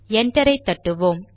என்டரை தட்டுவோம்